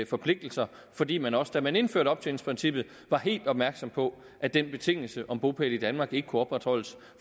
forpligtelser fordi man også da man indførte optjeningsprincippet var helt opmærksom på at den betingelse om bopæl i danmark ikke kunne opretholdes